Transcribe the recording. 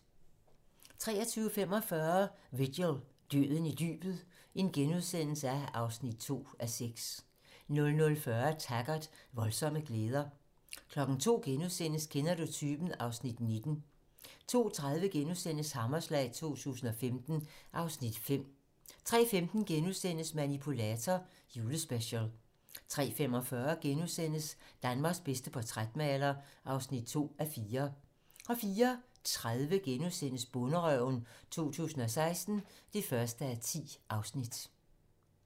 23:45: Vigil - Døden i dybet (2:6)* 00:40: Taggart: Voldsomme glæder 02:00: Kender du typen? (Afs. 19)* 02:30: Hammerslag 2015 (Afs. 5)* 03:15: Manipulator - Julespecial * 03:45: Danmarks bedste portrætmaler (2:4)* 04:30: Bonderøven 2016 (1:10)*